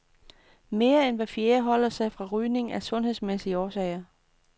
Mere end hver fjerde holder sig fra rygningen af sundhedsmæssige årsager.